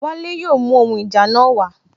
Wale yóò mú ohun ìjà náà wa